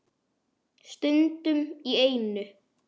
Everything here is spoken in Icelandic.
Stundum í einu.